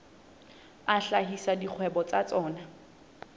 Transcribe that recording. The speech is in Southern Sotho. a hlahisa dikgwebo tsa tsona